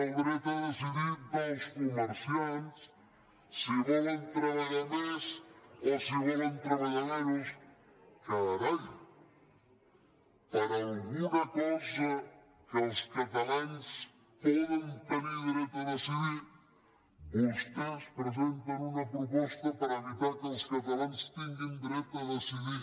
del dret a decidir dels comerciants si volen treballar més o si volen treballar menys carai per alguna cosa que els catalans poden tenir dret a decidir vostès presenten una proposta per evitar que els catalans tinguin dret a decidir